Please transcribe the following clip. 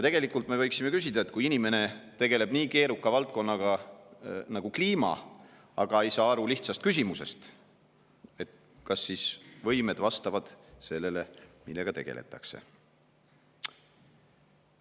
Tegelikult me võiksime küsida, et kui inimene tegeleb nii keeruka valdkonnaga nagu kliima, aga ei saa aru lihtsast küsimusest, kas siis võimed vastavad sellele, millega tegeletakse.